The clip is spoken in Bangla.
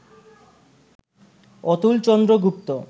অতুলচন্দ্র গুপ্ত